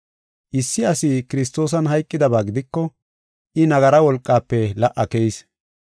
Issi asi Kiristoosan hayqidaba gidiko, I nagara wolqafe la77a keyis.